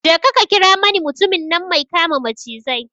Je ka ka kira mani mutumin nan mai kama macizai